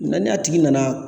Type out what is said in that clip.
Ŋa n'a tigi nana